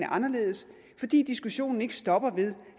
anderledes fordi diskussionen ikke stopper ved